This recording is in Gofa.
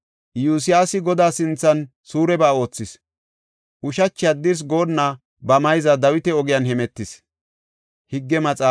Iyosyaasi Godaa sinthan suureba oothis; ushachi haddirsi goonna ba mayza Dawita ogiyan hemetis.